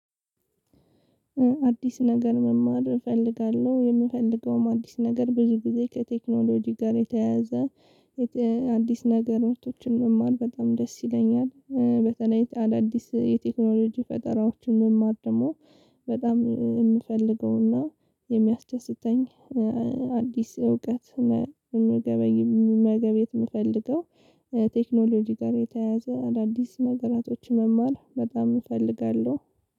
አዲስ ነገር መማር እፈልጋለሁ የምፈልገውም አዲስ ነገር ብዙ ጊዜ ከቴክኖሎጂ ጋር የተያያዘ አዲስ ነገራቶችን መማር በጣም ደስ ይለኛል። በተለይ አዳዲስ የቴክኖሎጂ ፈጠራዎችን መማር ደግሞ በጣም የምፈልገውና የሚያስደስተኝ። አዲስ እውቀት መገበይ መገበየት የምፈልገው ቴክኖሎጂ ጋር የተያያዘ አዳዲስ ነገራቶችን መማር በጣም እፈልጋለሁ።